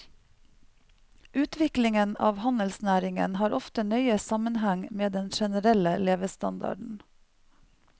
Utviklingen av handelsnæringen har ofte nøye sammenheng med den generelle levestandarden.